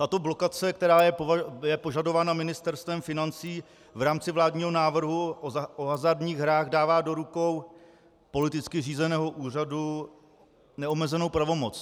Tato blokace, která je požadována Ministerstvem financí v rámci vládního návrhu o hazardních hrách, dává do rukou politicky řízeného úřadu neomezenou pravomoc.